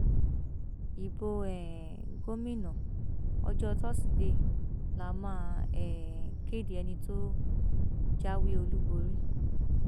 ibo um gómìnà ọjọ tọsídẹẹ la máa um kéde ẹni tó jáwé olúborí